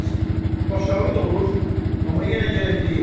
Gərəz, baş ağrı da olur, amma yenə gərək deyim.